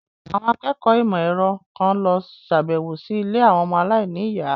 Àwọn akẹ́kọ̀ọ́ ìmọ̀ ẹ̀rọ kan lọ sàbẹ̀wò sí ilé àwọn ọmọ aláìníyàá.